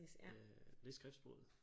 Øh det er skriftsproget